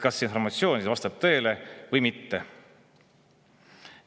Kas see informatsioon vastab tõele või mitte?